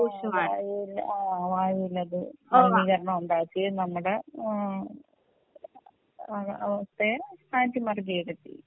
വായുവിനത് മലിനീകരണം ഉണ്ടാക്കുകയും നമ്മുടെ അവസ്ഥയെ